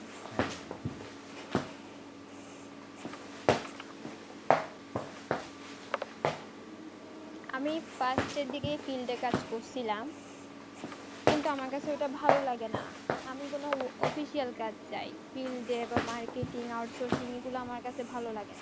আমি first এর দিকে filed এ কাজ করসিলাম কিন্তু আমার কাছে ওটা ভালো লাগে না আমি কোনো official কাজ চাই field এ বা marketing out sourcing এই গুলো আমার কাছে ভালো লাগে না